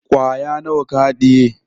Kwaya nawa ka haɗiye?